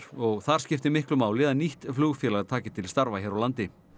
og þar skipti miklu máli að nýtt flugfélag taki til starfa hér á landi